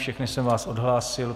Všechny jsem vás odhlásil.